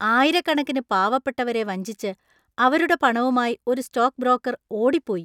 ആയിരക്കണക്കിന് പാവപ്പെട്ടവരെ വഞ്ചിച്ച് അവരുടെ പണവുമായി ഒരു സ്റ്റോക്ക് ബ്രോക്കര്‍ ഓടിപ്പോയി.